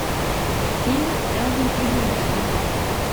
фильм элвин и бурундуки